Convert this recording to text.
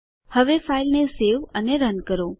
હવે ફાઈલને સેવ અને રન કરો